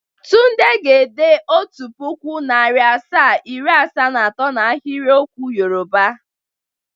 Tunde ga-ede Otu puku, nari asaa, iri asaa na ato na ahiriokwu Yọrụba.